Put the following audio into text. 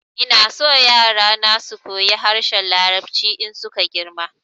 Ina so yara na su koyi harshen larabci in su ka girma